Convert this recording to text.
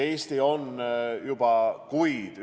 Eesti on juba kuid neid asju arutanud.